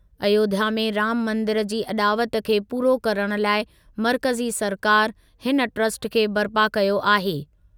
अयोध्या में राम मंदिर जी अॾावत खे पूरो करणु लाइ मर्कज़ी सरकारि हिन ट्रस्ट खे बरिपा कयो आहे।